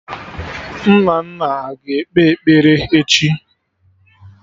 Nnanna aga ekpe ekpere echi?